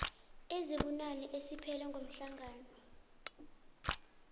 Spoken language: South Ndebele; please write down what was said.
ezibunane esiphele ngomhlaka